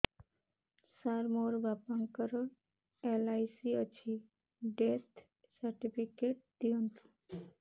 ସାର ମୋର ବାପା ଙ୍କର ଏଲ.ଆଇ.ସି ଅଛି ଡେଥ ସର୍ଟିଫିକେଟ ଦିଅନ୍ତୁ